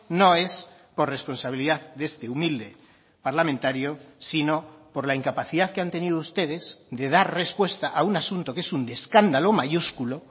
no es por responsabilidad de este humilde parlamentario sino por la incapacidad que han tenido ustedes de dar respuesta a un asunto que es un escándalo mayúsculo